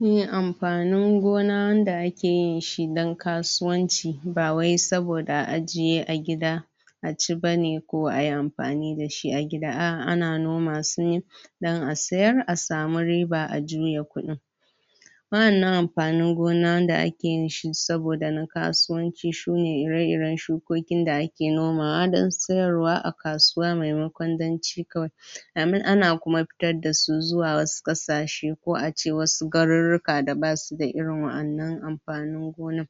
? Me amfanin gona wanda ake yin shi dan kasuwanci, ba wai saboda a ajiye a gida,? aci bane ko ayi amfani da shi a gida a'a ana noma su ne? dan a siyar a samu riba a juya kuɗin.? Waƴannan amfanin gona waƴanda ake yin shi saboda na kasuwanci sune ira-iran shukokin da ake noma wa dan sayarwa a kasuwa maimakon dan ci kawai.? Sannan ana kuma fitar da su zuwa wasu ƙasashe ko ace wasu garuruka da basuda irin waƴannan amfanin gonan?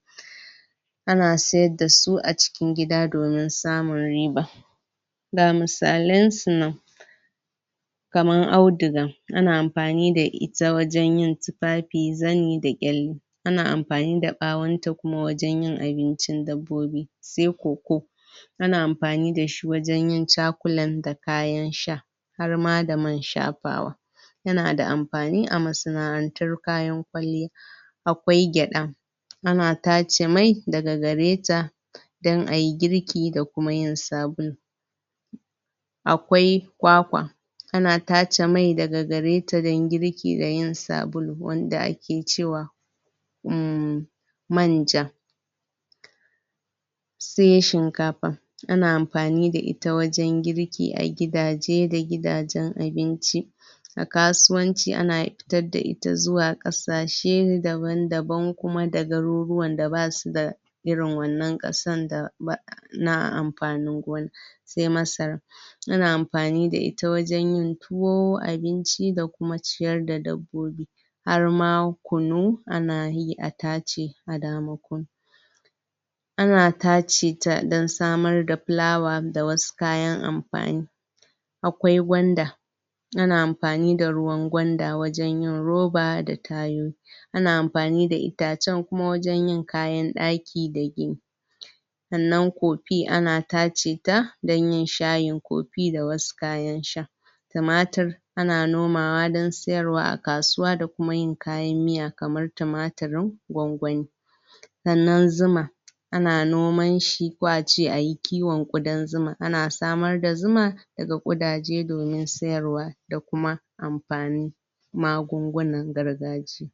Ana sayar da su acikin gida domin samun riba.? Ga misalansu nan. Kamar auduga. Ana amfani da ita wajan yin tufafi, zani, da ƙyalle.? Ana amfani da ɓawanta kuma wajan yin abincin dabbobi.? Sai coco? Ana amfani da shi wajan yin chocolate da kayan sha,? har ma da man shafawa.? Ya na da amfani a masana'antar kayan kwalliya.? Akwai gyaɗa.? Ana tace mai, daga gareta, dan ayi girki da kuma yin sabulu.? Akwai kwakwa.? Ana tace mai daga gareta dan girki da yin sabulu wanda ake cewa,??? manja. Sai shinkafa. Ana amfani da ita wajan girki da gadaje da gidajen abinci.? A kasuwanci ana fitar da ita zuwa ƙashe daban-daban kuma da garuruwan da basuda,? irin wannan ƙasan,? na amfanin gona.? Sai masara.? Ana amfani da ita wajan yin tuwo, abinci da kuma ciyar da dabbobi.? Harma kunu, ana yi, a tace a dama kunu.? Ana tace ta dan samar da fulawa da wasu kayan amfani.? Akwai gwanda. Ana amfani da ruwan gwanda wajan yin roba da tayoyi.? Ana amfani da itacen kuma wajan yin kayan ɗaki da gini.? Sannan coffee ana tace ta, dan yin shayin coffee da wasu kayan sha.? Tumatir, ana noma wa dan siyarwa a kasuwa da kuma yin kayan miya, kamar tumaturin gwangwani.? Sannan zuma.? Ana noman shi, ko ace ayi kiwon ƙodan zuma. Ana samar da zuma,? daga ƙodaje domin siyarwa, da kuma manfani,? magungunan gargajiya.